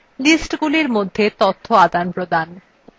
sheetsগুলির মধ্যে তথ্য আদানপ্রদান